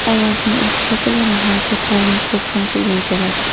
Ovozni o‘chirib, ularning harakatlarini ko‘rsam kulgim keladi.